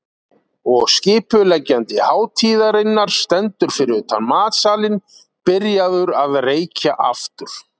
Og skipuleggjandi hátíðarinnar stendur fyrir utan matsalinn, byrjaður að reykja aftur.